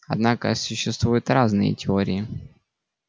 однако существуют разные теории